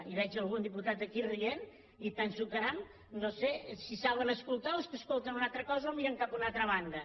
i veig algun diputat aquí rient i penso caram no sé si saben escoltar o és que escolten una altra cosa o miren cap a una altra banda